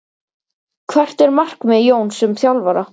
Hvert er markmið Jóns sem þjálfara?